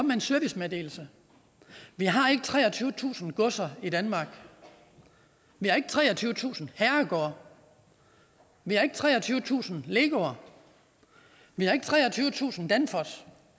med en servicemeddelelse vi har ikke treogtyvetusind godser i danmark vi har ikke treogtyvetusind herregårde vi har ikke treogtyvetusind legoer vi har ikke treogtyvetusind danfosser